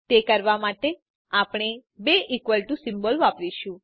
તે કરવા માટે આપણે બે ઇકવલ ટુ સિમ્બોલ વાપરીશું